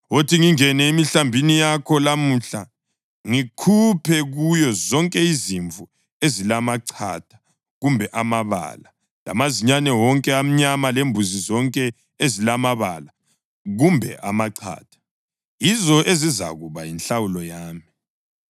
Wothi ngingene emihlambini yakho lamuhla ngikhuphe kuyo zonke izimvu ezilamachatha kumbe amabala, lamazinyane wonke amnyama lembuzi zonke ezilamabala kumbe amachatha. Yizo ezizakuba yinhlawulo yami.